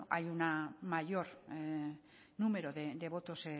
hay un mayor número de votos